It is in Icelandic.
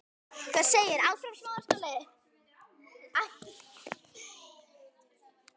Síðan er ekkert planað.